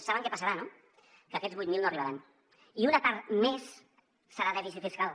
saben què passarà no que aquests vuit mil no arribaran i una part més serà dèficit fiscal